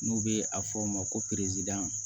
N'u bɛ a fɔ o ma ko peresidan